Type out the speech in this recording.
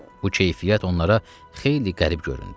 Bu keyfiyyət onlara xeyli qərib göründü.